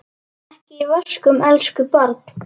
Ekki í vöskum, elsku barn.